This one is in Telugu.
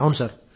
అవును సార్